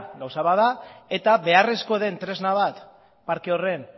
gauza bat da eta beharrezkoa den tresna bat parke horren